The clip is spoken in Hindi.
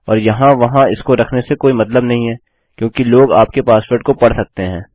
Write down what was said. और यहाँ वहाँ इसको रखने से काई मतलब नहीं है क्योंकि लोग आपके पासवर्ड को पढ़ सकते हैं